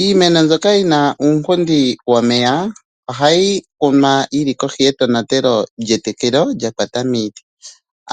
Iimeno mbyoka yina uunkundi womeya ohayi kunwa yili kohi ye tonatelo lye tekelo lyakwata miiti.